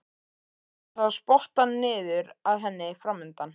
Hann sá spottann niður að henni framundan.